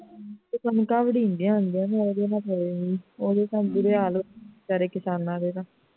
ਕਣਕਾਂ ਦੇ ਮਹੀਨੇ ਹੁੰਦੇ ਨੇ ਉਦੋਂ ਵੀ ਓਦੋਂ ਤਾਂ ਬੁਰੇ ਹਾਲ ਹੁੰਦੇ ਨੇ ਸਾਰੇ ਕਿਸਾਨਾਂ ਦੇ ਤਾਂ